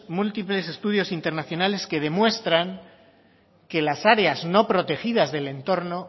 múltiples estudios internacionales que demuestran que las áreas no protegidas del entorno